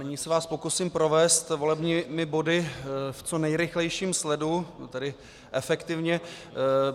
Nyní se vás pokusím provést volebními body v co nejrychlejším sledu, tedy efektivně.